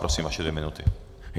Prosím, vaše dvě minuty.